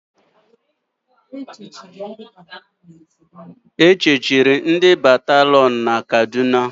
E chechiri ndị batarion na Kaduna